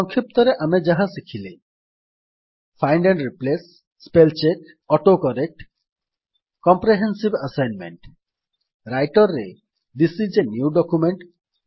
ସଂକ୍ଷିପ୍ତ ରେ ଆମେ ଯାହା ଶିଖିଲେ find and replace spell check autocorrect comprehensive assignment writer ରେ this I S a new document